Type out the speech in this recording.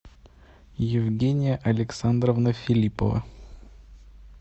евгения александровна филипова